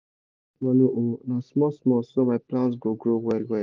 i no rush manure oo na small small so my plants go grow well well.